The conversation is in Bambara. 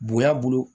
Bonya bolo